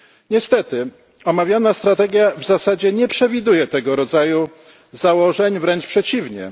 Niestety omawiana strategia w zasadzie nie przewiduje tego rodzaju założeń, wręcz przeciwnie.